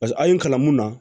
paseke a ye n kalan mun na